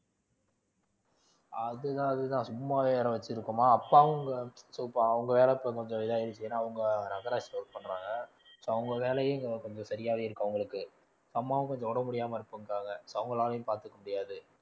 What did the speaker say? அதுதான் அதுதான் சும்மாவே வேற வச்சிருக்கோமா அப்பாவும் so இப்ப அவங்க வேற இப்ப கொஞ்சம் இதாயிருக்கு ஏன்னா அவங்க நகராட்சில work பண்றாங்க so அவங்க வேலையே கொஞ்சம் சரியாவே இருக்கு அவங்களுக்கு அம்மாவும் கொஞ்சம் உடம்பு முடியாம இருப்பாங்க அவங்களாலையும் பாத்துக்க முடியாது